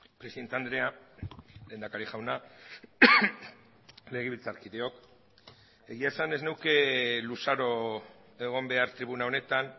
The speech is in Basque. presidente andrea lehendakari jauna legebiltzarkideok egia esan ez nuke luzaro egon behar tribuna honetan